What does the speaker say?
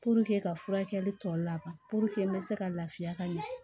ka furakɛli tɔ laban n bɛ se ka lafiya ka ɲɛ